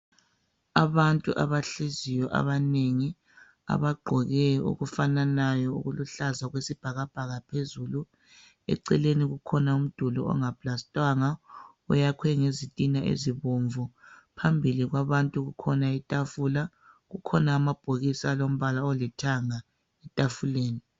Abantu abahleziyo abagqoke okufananayo okuluhlaza okwesibhakabhaka phezulu eceleni kukhona umduli ongaplastwanga uyakhwe ngezitina ezibomvu phambili kwabantu kukhona itafula kukhona amabhokisi alombala olithanga etafuleni